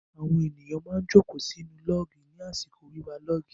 Àwọn èrò má ń jókòó sí inú lọ́ọ̀gì ní àsìkò wíwa lọ́ọ̀gì.